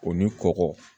O ni kɔkɔ